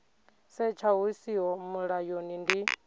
setsha hu siho mulayoni ndi